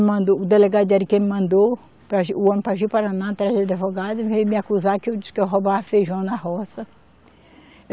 Mandou, o delegado de Ariquemes mandou, para Ji, o homem para Ji-Paraná atrás de advogado e veio me acusar que eu disse que eu roubava feijão na roça.